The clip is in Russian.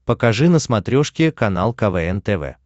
покажи на смотрешке канал квн тв